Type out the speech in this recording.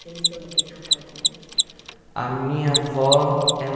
Eles são daqui de São Paulo também? A minha avó,